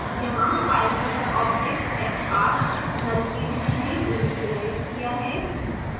यहाँ filereader object fr null के रूप में इनिसिलीइज है